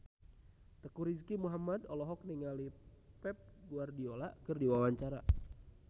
Teuku Rizky Muhammad olohok ningali Pep Guardiola keur diwawancara